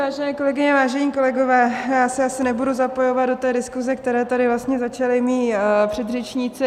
Vážené kolegyně, vážení kolegové, já se asi nebudu zapojovat do té diskuse, kterou tady vlastně začali mí předřečníci.